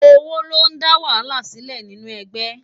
Ówó lé dá wàhálá silé ninú ègbè